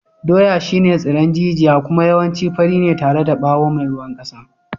Dawa shine tsiron jijiya kuma yawanci fari ne tare da bawo mai ruwan kasa.